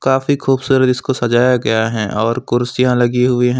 काफी खूबसूरत इसको सजाया गया है और कुर्सियां लगी हुई हैं।